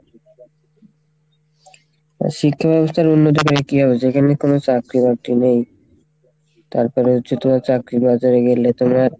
শিক্ষা ব্যবস্থার উন্নত করে কী হবে যেখানে কোনো চাকরি বাকরি নেই তারপরে হচ্ছে তোমার চাকরি বাজারে বললে তোমার,